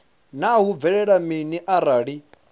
naa hu bvelela mini arali